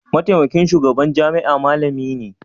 mataimakin shugaban jami'a malami ne?